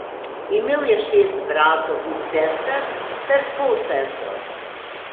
Imel je šest bratov in sester ter polsestro.